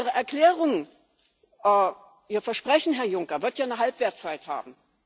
Ihre Erklärung, Ihr Versprechen, Herr Juncker, wird ja eine Halbwertzeit haben.